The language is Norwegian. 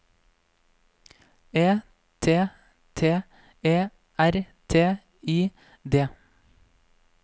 E T T E R T I D